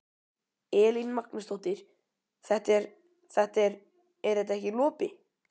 Elín Magnúsdóttir: Þetta er, þetta er, er þetta ekki lopi?